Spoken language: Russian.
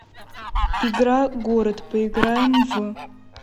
игра город поиграем в